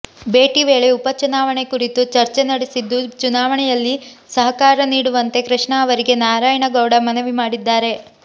ಭೇಟಿ ವೇಳೆ ಉಪಚುನಾವಣೆ ಕುರಿತು ಚರ್ಚೆ ನಡೆಸಿದ್ದು ಚುನಾವಣೆಯಲ್ಲಿ ಸಹಕಾರ ನೀಡುವಂತೆ ಕೃಷ್ಣ ಅವರಿಗೆ ನಾರಾಯಣಗೌಡ ಮನವಿ ಮಾಡಿದ್ದಾರೆ